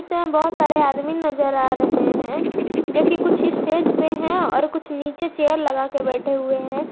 जिसमें बहोत सारे आदमी नजर आ रहे हैं जो कि कुछ स्टेज पे है और कुछ नीचे चेयर लगा के बैठे हुए हैं।